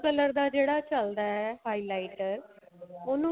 color ਦਾ ਜਿਹੜਾ ਚੱਲਦਾ highlighter ਉਹਨੂੰ